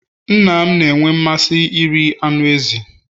nna m na-enwe mmasị iri anụ ezi